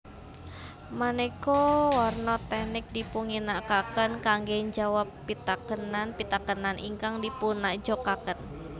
Maneka warna teknik dipunginakaken kangge njawab pitakenan pitakenan ingkang dipunajokaken